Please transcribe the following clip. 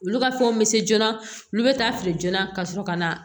Olu ka fɛnw bɛ se joona olu bɛ taa feere joona ka sɔrɔ ka na